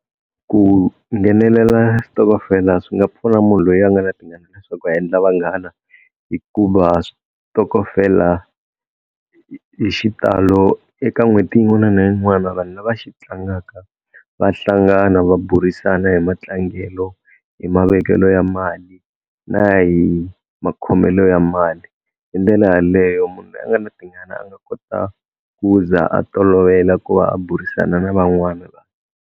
Ku nghenelela xitokofela swi nga pfuna munhu loyi a nga na tingana leswaku a endla vanghana hikuva switokofela hi xitalo eka n'hweti yin'wana na yin'wana vanhu lava xi tlangaka va hlangana va burisana hi matlangelo hi mavekelo ya mali na hi makhomelo ya mali hi ndlela yaleyo munhu loyi a nga na tingana a nga kota ku za a tolovela ku va a burisana na van'wana vanhu.